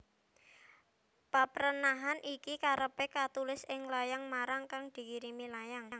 Paprenahan iki karepe katulis ing layang marang kang dikirimi layang